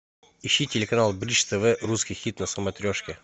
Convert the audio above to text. ищи телеканал бридж тв русский хит на смотрешке